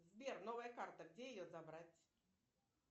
сбер новая карта где ее забрать